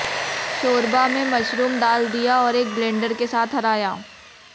शोरबा में मशरूम डाल दिया और एक ब्लेंडर के साथ हराया